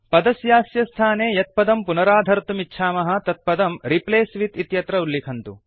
पदस्यास्य स्थाने यत् पदं पुनराधर्तुमिच्छामः तत् पदं रिप्लेस विथ इत्यत्र उल्लिखन्तु